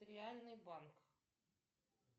реальный банк